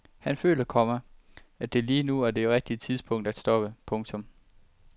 Han føler, komma at det lige nu er det rigtige tidspunkt at stoppe. punktum